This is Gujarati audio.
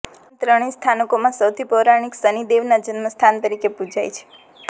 આમ ત્રણેય સ્થાનકોમાં સૌથી પૌરાણિક શનિદેવના જન્મસ્થાન તરીકે પૂજાય છે